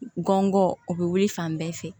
Gɔngɔn o bɛ wuli fan bɛɛ fɛ